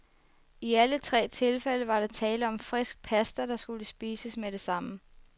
I alle tre tilfælde var der tale om frisk pasta, der skulle spises med det samme.